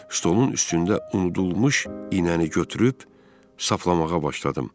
Stolun üstündə unudulmuş iynəni götürüb saflamağa başladım.